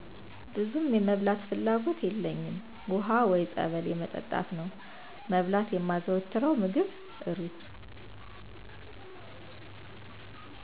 ብዙም የመብላት ፍላጎት የለኝም ውሃ ወይ ፀበል የመጠጣት ነው መብላት የማዘወትረው ምግብ እሩዝ